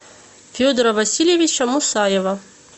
федора васильевича мусаева